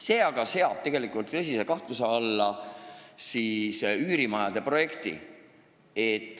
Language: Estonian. See aga seab tõsise kahtluse alla üürimajade projekti.